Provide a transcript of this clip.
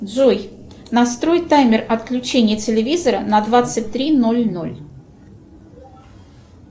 джой настрой таймер отключения телевизора на двадцать три ноль ноль